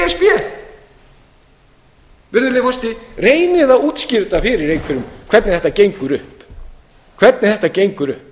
í e s b reynið að útskýra þetta fyrir einhverjum hvernig þetta gengur upp